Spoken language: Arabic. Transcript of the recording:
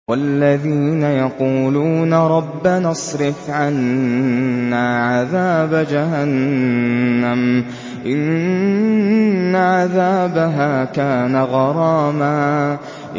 وَالَّذِينَ يَقُولُونَ رَبَّنَا اصْرِفْ عَنَّا عَذَابَ جَهَنَّمَ ۖ إِنَّ عَذَابَهَا كَانَ غَرَامًا